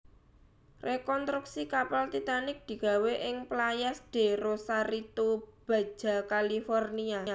Rekontruksi kapal Titanic digawé ing Playas de Rosarito Baja California